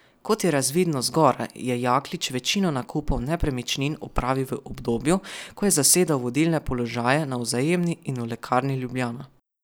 Kot je razvidno zgoraj, je Jaklič večino nakupov nepremičnin opravil v obdobju, ko je zasedal vodilne položaje na Vzajemni in v Lekarni Ljubljana.